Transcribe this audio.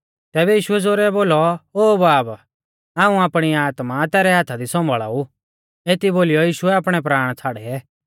तैबै यीशुऐ ज़ोरै बोलौ ओ बाब हाऊं आपणी आत्मा तैरै हाथा दी सौम्भाल़ा ऊ एती बोलीयौ यीशुऐ आपणै प्राण छ़ाड़ै